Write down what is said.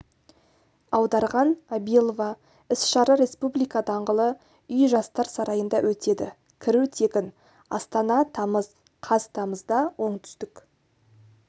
аударған абилова іс-шара республика даңғылы үй жастар сарайында өтеді кіру тегін астана тамыз қаз тамызда оңтүстік